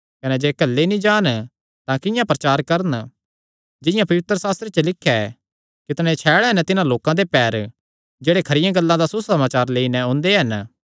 कने जे घल्ले नीं जान तां किंआं प्रचार करन जिंआं पवित्रशास्त्रे च लिख्या ऐ कितणे छैल़ हन तिन्हां लोकां दे पैर जेह्ड़े खरियां गल्लां दा सुसमाचार लेई नैं ओंदे हन